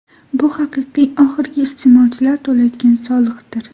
Bu haqiqiy oxirgi iste’molchilar to‘laydigan soliqdir.